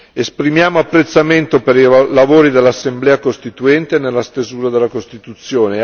Esprimiamo apprezzamento per i lavori dell'assemblea costituente nella stesura della costituzione.